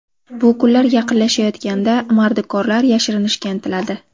Bu kunlar yaqinlashayotganda mardikorlar yashirinishga intiladi.